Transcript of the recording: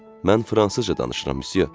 Mən fransızca danışıram, Msye.